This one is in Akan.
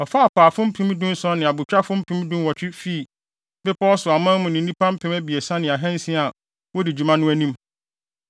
Ɔfaa apaafo mpem aduɔson ne abotwafo mpem aduɔwɔtwe fii bepɔw so aman mu ne nnipa mpem abiɛsa ne ahansia a wodi adwuma no anim.